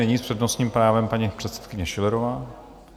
Nyní s přednostním právem paní předsedkyně Schillerová.